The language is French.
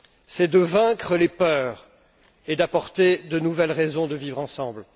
C'est vaincre les peurs et apporter de nouvelles raisons de vivre ensemble.